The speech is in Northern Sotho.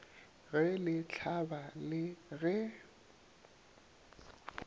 ge le hlaba le ge